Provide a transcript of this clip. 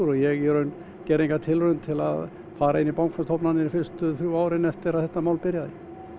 og ég í raun gerði enga tilraun til að fara inn í bankastofnanir fyrstu þrjú árin eftir að þetta mál byrjaði